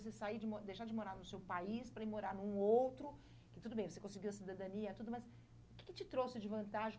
de você sair de uma, de deixar de morar no seu país para ir morar num outro, que tudo bem, você conseguiu a cidadania e tudo, masm o que que te trouxe de vantagem?